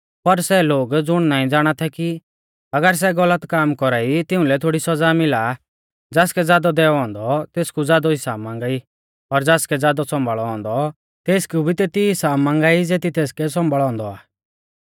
पर सै लोग ज़ुण नाईं ज़ाणा थै अगर सै गलत काम कौरा ई तिउंलै थोड़ी सौज़ा मिला आ ज़ासकै ज़ादौ दैऔ औन्दौ तेसकु ज़ादौ हिसाब मांगा ई और ज़ासकै ज़ादौ सम्भाल़ौ औन्दौ तेसकु भी तेती हिसाब मांगा ई ज़ेती तेसकै सम्भाल़ौ औन्दौ आ